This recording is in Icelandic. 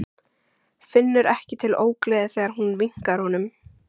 Finnur ekki til ógleði þegar hún vinkar honum.